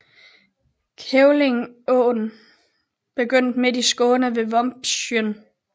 Kävlingeån begynder midt i Skåne ved Vombsjön